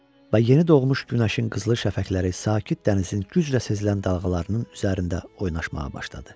Və yeni doğmuş günəşin qızılı şəfəqləri sakit dənizin güclə sezilən dalğalarının üzərində oynamağa başladı.